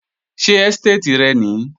Ṣé ẹ́stéètì rẹ nìí?